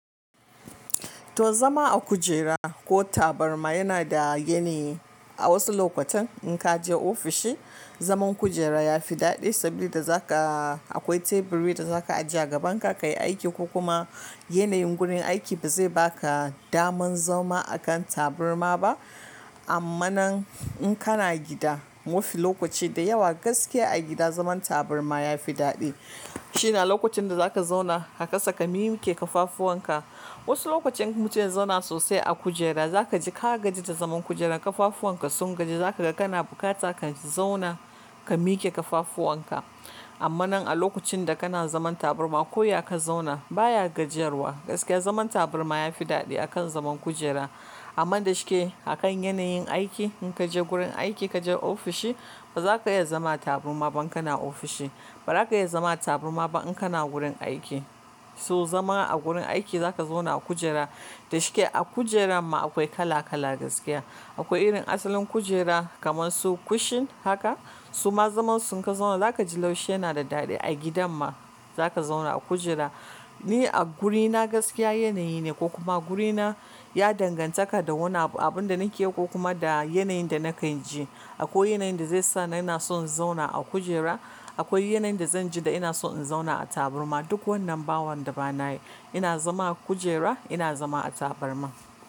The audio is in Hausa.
To zama a kujera ko tabarma yana da yanayi. A wasu lokutan in ka je ofishi, zaman kujera ya fi daɗi saboda za ka akwai teburi da za ka ajiye a gaban ka, ka yi aiki ko kuma yanayin gurin aiki ba zai ba ka daman zama akan tabarma ba. Amma nan in kana gida, mafi lokaci da yawa gaskiya a gida zaman tabarma ya fi daɗi. Shi na lokacin da za ka zauna ka kasa ka mike kafafuwan ka. Wasu lokacin in mutum ya zauna sosai a kujera, za ka ji ka gaji da zaman kujera. Kafafuwan ka sun gaji, za ka ga kana bukata ka zauna ka mike kafafuwan ka. Amma nan a lokacin da ka na zaman tabarma ko ya ka zauna baya gajiyarwa. Gaskiya zaman tabarma ya fi daɗi akan zaman kujera. Amma da shi ke akan yanayin aiki, in ka je wurin aiki, ka je ofishi, ba za ka iya zama tabarma ba in ka na ofishi. Ba za ka iya zama tabarma ba in ka na wurin aiki. So zama a wurin aiki za ka zauna a kujera. Da shi ke a kujera ma akwai kala kala gaskiya. Akwai irin asalin kujera kamar su cushion haka. Su ma zaman su in ka zauna za ka ji laushi yana da daɗi. A gidan ma za ka zauna a kujera. Ni a wurina gaskiya yanayi ne ko kuma wurina ya dangantaka da wannan abun, abun da nake yi ko kuma da yanayin da na kan ji. Akwai yanayin da zai sa na yana son zauna a kujera. Akwai yanayin da zan ji da ina so in zauna a tabarma. Duk wannan ba wanda ba na yi, ina zama a kujera, ina zama a tabarma.